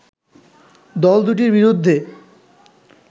দলদুটির বিরুদ্ধে